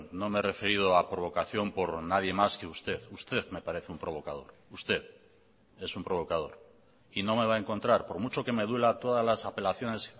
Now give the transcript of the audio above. no me he referido a provocación por nadie más que usted usted me parece un provocador usted es un provocador y no me va a encontrar por mucho que me duela todas las apelaciones